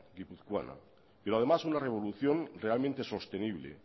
guipuzcoana pero además una revolución realmente sostenible